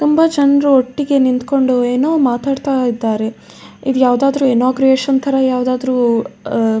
ತುಂಬ ಜನ್ರು ಒಟ್ಟಿಗೆ ನಿಂಕೊಂಡು ಏನೋ ಮಾತಾಡ್ತಾ ಇದ್ದಾರೆ ಇದು ಯಾವದಾದ್ರು ಇನ್ನೋಂಗ್ರಷನ್ ತರ ಯಾವದಾದ್ರು ಉಹ್